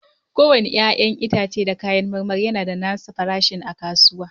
Kowane 'ya'yan itace da kayan marmari yana da nasa farashin a kasuwa.